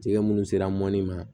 Jɛgɛ minnu sera mɔni ma